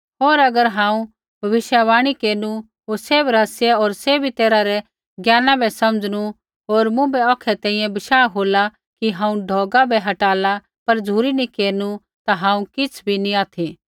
होर अगर हांऊँ भविष्यवाणी केरनु होर सैभ रहस्या होर सभी तैरहा रै ज्ञाना बै समझनु होर मुँभै औखै तैंईंयैं बशाह होला कि हांऊँ ढौगा बै हटाला पर झ़ुरी नी केरनु ता हांऊँ किछ़ भी नी ऑथि